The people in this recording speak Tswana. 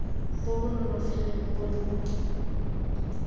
bo bo nonofileng bo bo